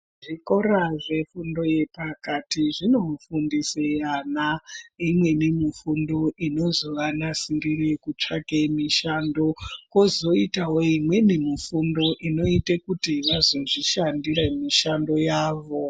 Zvikora zvefundo yepakati zvinofundise ana imweni mifundo inozovanasirire kutsvake mishando. Kozoitawo imweni mifundo inoite kuti vazozvishandire mishando yavo.